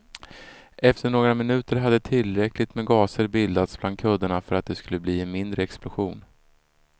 Efter några minuter hade tillräckligt med gaser bildats bland kuddarna för att det skulle bli en mindre explosion.